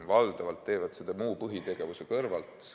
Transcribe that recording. Valdavalt tehakse seda muu põhitegevuse kõrvalt.